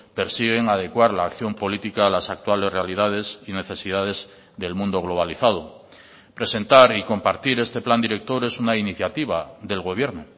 persiguen adecuar la acción política a las actuales realidades y necesidades del mundo globalizado presentar y compartir este plan director es una iniciativa del gobierno